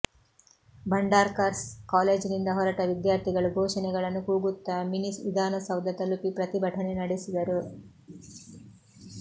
ಭಂಡಾರ್ಕಾರ್ಸ್ ಕಾಲೇಜಿನಿಂದ ಹೊರಟ ವಿದ್ಯಾರ್ಥಿಗಳು ಘೋಷಣೆಗಳನ್ನು ಕೂಗುತ್ತಾ ಮಿನಿ ವಿಧಾನಸೌಧ ತಲುಪಿ ಪ್ರತಿಭಟನೆ ನಡೆಸಿದರು